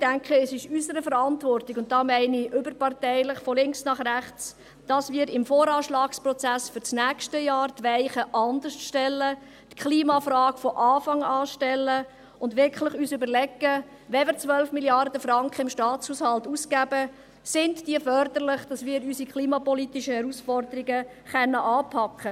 Ich denke, es ist in unserer Verantwortung – damit meine ich alle Parteien, von links bis rechts –, dass wir im VA-Prozess für das nächste Jahr die Weichen anders stellen, die Klimafrage von Anfang an stellen und uns überlegen, wenn wir 12 Mrd. Franken im Staatshaushalt ausgeben, ob diese förderlich sind, um unsere klimapolitischen Herausforderungen anzupacken.